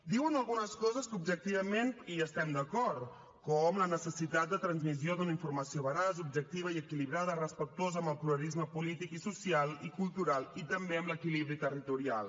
diuen algunes coses que objectivament hi estem d’acord com la necessitat de transmissió d’una informació veraç objectiva i equilibrada respectuosa amb el pluralisme polític social i cultural i també amb l’equilibri territorial